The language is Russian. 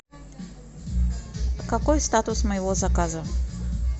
какой статус моего заказа